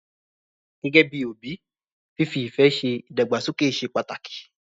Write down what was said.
Gẹ́gẹ́ bí òbí, fífi ìfẹ́ ṣe ìdàgbàsókè ṣe pàtàkì.